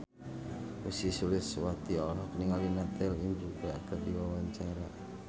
Ussy Sulistyawati olohok ningali Natalie Imbruglia keur diwawancara